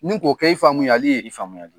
Ni k'o kɛ i faamuyali ye. I faamuyali ye.